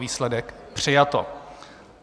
Výsledek: přijato.